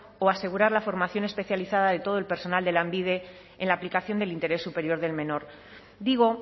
o asegurar la formación especializada de todo el personal de lanbide en la aplicación del interés superior del menor digo